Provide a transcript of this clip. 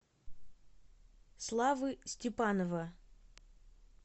славы степанова